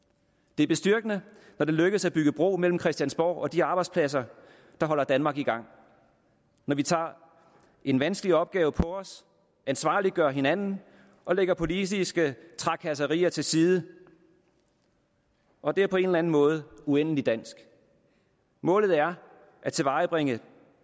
det er bestyrkende når det lykkes at bygge bro mellem christiansborg og de arbejdspladser der holder danmark i gang når vi tager en vanskelig opgave på os ansvarliggør hinanden og lægger politiske trakasserier til side og det er på en eller anden måde uendelig dansk målet er at tilvejebringe